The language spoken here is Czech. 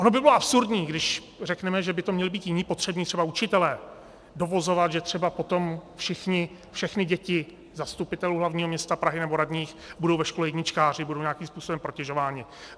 Ono by bylo absurdní, když řekneme, že by to měli být jiní potřební, třeba učitelé, dovozovat, že třeba potom všechny děti zastupitelů hlavního města Prahy nebo radních budou ve škole jedničkáři, budou nějakým způsoben protežovány.